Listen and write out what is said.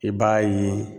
I b'a ye